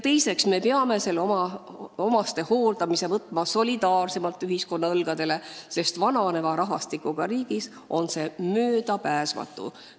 Teiseks, me peame omastehooldamise võtma solidaarsemalt ühiskonna õlgadele, sest vananeva rahvastikuga riigis on see möödapääsmatu.